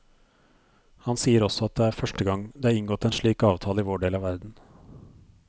Han sier også at det er første gang det er inngått en slik avtale i vår del av verden.